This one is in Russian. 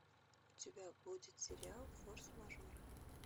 у тебя будет сериал форс мажоры